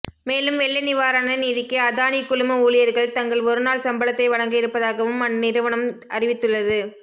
மேலும் வெள்ள நிவாரண நிதிக்கு அதானி குழும ஊழியர்கள் தங்கள் ஒரு நாள் சம்பளத்தை வழங்க இருப்பதாகவும் அந்நிறுவனம் அறிவித்துள்ளது